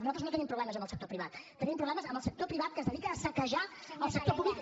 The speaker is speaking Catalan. nosaltres no tenim problemes amb el sector privat tenim problemes amb el sector privat que es dedica a saquejar el sector públic